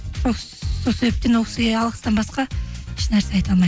сол себептен ол кісіге алғыстан басқа ешнәрсе айта алмаймын